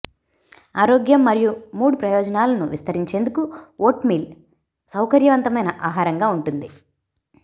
ఆరోగ్యం మరియు మూడ్ ప్రయోజనాలను విస్తరించేందుకు వోట్మీల్ సౌకర్యవంతమైన ఆహారంగా ఉంటుంది